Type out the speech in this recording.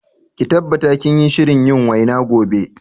Ki tabbata kinyi shirin yin waina gobe